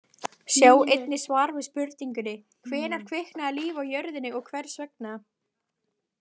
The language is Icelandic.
Sjá einnig svar við spurningunni: Hvenær kviknaði líf á jörðinni og hvers vegna?